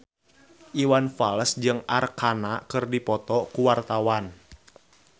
Iwan Fals jeung Arkarna keur dipoto ku wartawan